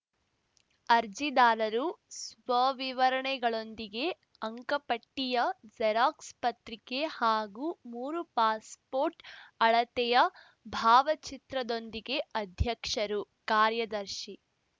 ಅರ್ಜಿದಾರರು ಸ್ವವಿವರಣೆಗಳೊಂದಿಗೆ ಅಂಕಪಟ್ಟಿಯ ಜೆರಾಕ್ಸ್‌ ಪತ್ರಿಕೆ ಹಾಗೂ ಮೂರು ಪಾಸ್‌ ಪೋರ್ಟ್‌ ಅಳತೆಯ ಭಾವಚಿತ್ರದೊಂದಿಗೆ ಅಧ್ಯಕ್ಷರು ಕಾರ್ಯದರ್ಶಿ